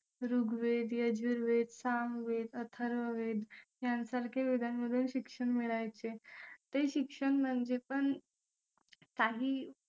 ऋग्वेद यजुर्वेद सामवेद अथर्ववेद यासारख्या विधान मधून शिक्षण मिळायचे ते शिक्षण म्हणजे पण काही